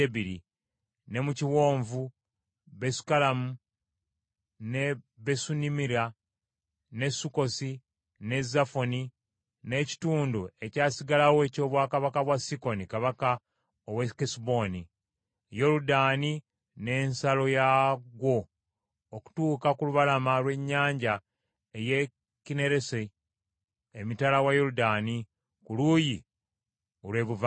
ne mu kiwonvu, Besukalamu, ne Besu Nimira, ne Sukkosi, ne Zafoni, n’ekitundu ekyasigalawo ekyobwakabaka bwa Sikoni kabaka ow’e Kesuboni, Yoludaani n’ensalo yaagwo, okutuuka ku lubalama lw’ennyanja ey’e Kinneresi emitala wa Yoludaani ku luuyi olw’ebuvanjuba.